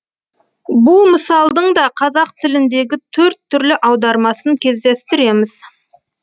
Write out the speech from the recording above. бұл мысалдың да қазақ тіліндегі төрт түрлі аудармасын кездестіреміз